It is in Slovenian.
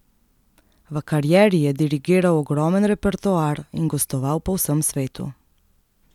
V karieri je dirigiral ogromen repertoar in gostoval po vsem svetu.